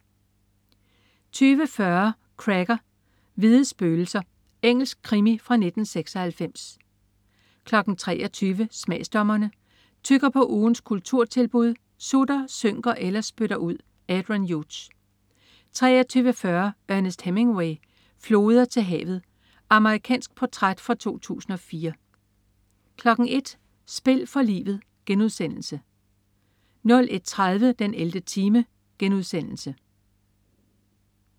20.40 Cracker: Hvide spøgelser. Engelsk krimi fra 1996 23.00 Smagsdommerne. Tygger på ugens kulturtilbud, sutter, synker eller spytter ud. Adrian Hughes 23.40 Ernest Hemingway: Floder til havet. Amerikansk portræt fra 2004 01.00 Spil for livet* 01.30 den 11. time*